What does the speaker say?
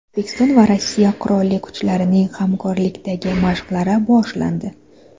O‘zbekiston va Rossiya qurolli kuchlarining hamkorlikdagi mashqlari boshlandi.